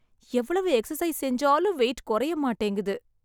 எவ்வளவு எக்சசைஸ் செஞ்சாலும் வெயிட் குறைய மாட்டேங்குது.